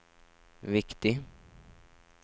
viktig